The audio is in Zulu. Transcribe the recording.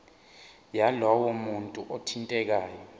yalowo muntu othintekayo